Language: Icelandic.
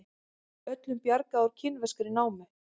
Öllum bjargað úr kínverskri námu